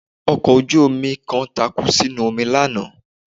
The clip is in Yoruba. Ọkọ̀ ojú-omi kan takú sínú omi lánàá